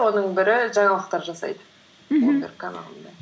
оның бірі жаңалықтар жасайды мхм блумберг каналында